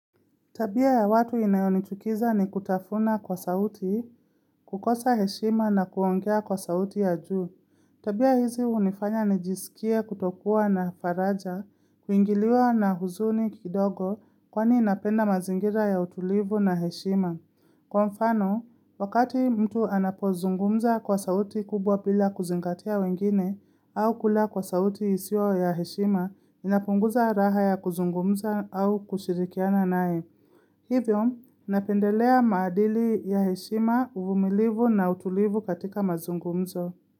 Tabia ya watu inayonichukiza ni kutafuna kwa sauti, kukosa heshima na kuongea kwa sauti ya juu. Tabia hizi unifanya nijisikie kutokuwa na faraja, kuingiliwa na huzuni kidogo kwani ninapenda mazingira ya utulivu na heshima. Kwa mfano, wakati mtu anapozungumza kwa sauti kubwa bila kuzingatia wengine au kula kwa sauti isio ya heshima, inapunguza raha ya kuzungumza au kushirikiana naye. Hivyo, napendelea maadili ya heshima uvumilivu na utulivu katika mazungumzo.